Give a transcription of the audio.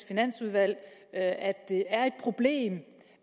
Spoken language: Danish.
finansudvalg at det er et problem